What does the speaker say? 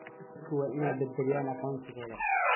Dadku waa inay badbaadiyaan aqoonsigooda.